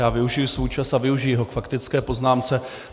Já využiji svůj čas a využiji ho k faktické poznámce.